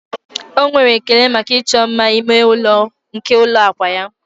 O nwere ekele maka ịchọ mma ime ụlọ nke ụlọ akwa ya